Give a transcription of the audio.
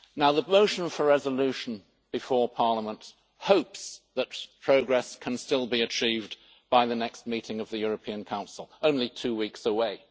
The motion for resolution before Parliament hopes that progress can still be achieved by the next meeting of the European Council only two weeks away.